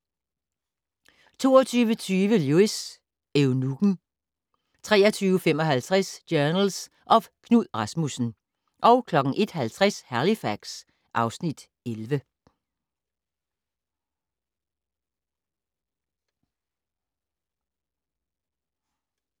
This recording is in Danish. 22:20: Lewis: Eunukken 23:55: Journals of Knud Rasmussen 01:50: Halifax (Afs. 11)